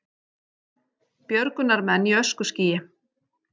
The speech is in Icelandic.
Björgunarmenn í öskuskýi